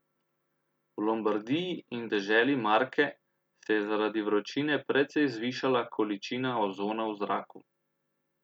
V Lombardiji in deželi Marke se je zaradi vročine precej zvišala količina ozona v zraku.